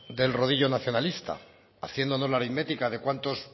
del rodillo nacionalista haciéndonos la aritmética de cuántos